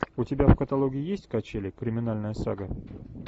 у тебя в каталоге есть качели криминальная сага